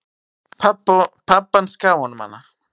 Pabbi hans gaf honum hana.